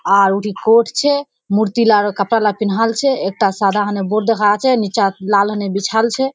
आर उठी कोट छे मूर्तिलारो कपड़ाला पिनाल छे एकटा सादाकोरे बोर्ड देखा जा छे नीचा लाल होने बिछाल छे।